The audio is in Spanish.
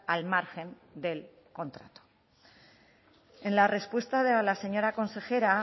al margen del contrato en la respuesta de la señora consejera